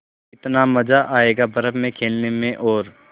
कितना मज़ा आयेगा बर्फ़ में खेलने में और